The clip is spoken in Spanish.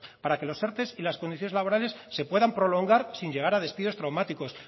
para que los erte y las condiciones laborales se puedan prolongar sin llegar a despidos traumáticos